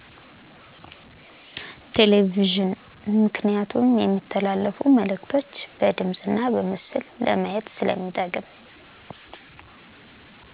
ቴሌቪዥን ምክንያቱም የሚተላለፉ መእልክቶችን በድምፅ እና በምስል ለማየት ስለሚጠቅም